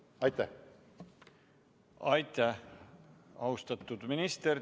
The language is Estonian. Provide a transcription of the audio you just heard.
Aitäh, austatud minister!